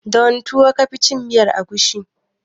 Da wane tuwo ka fi cin miyar agushi?